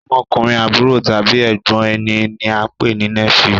Ọmọkùnrin àbúrò tàbí ègbón ẹní ní a pé ní nephew